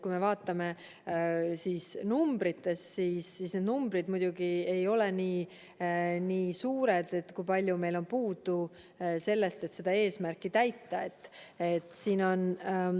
Kui me vaatame numbrites, siis need numbrid, kui palju meil on puudu sellest, et eesmärki täita, ei ole nii suured.